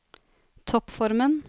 toppformen